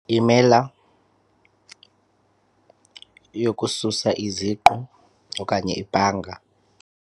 Imela yokusasa iziqu okanye ipanka.